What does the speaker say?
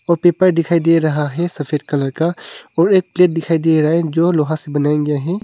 वो पेपर दिखाई दे रहा है सफेद कलर का और एक प्लेट दिखाई दे रहा जो लोहा से बनाया गया है।